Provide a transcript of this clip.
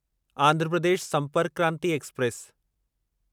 Andhra Pradesh Sampark Kranti express